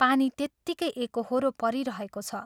पानी त्यत्तिकै एकोहोरो परिरहेको छ।